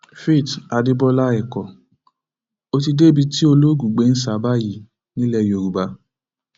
faith adébọlá ẹkọ ó ti débi tí olóògùn gbé ń sá a báyìí nílẹ yorùbá